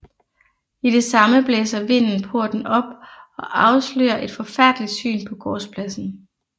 I det samme blæser vinden porten op og afslører et forfærdeligt syn på gårdspladsen